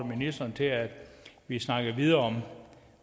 ministeren til at vi snakker videre